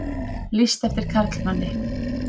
Lýst eftir karlmanni